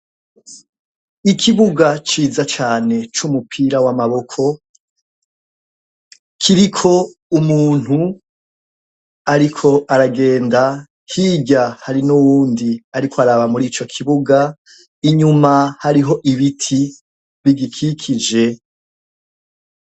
Ikibuga c'iza cane c'umupira w'amaboko, ikiriko umuntu ariko aragenda. Hirya hari n'uwundi ariko araba murico kibuga, inyuma hariho ibiti bigikikije.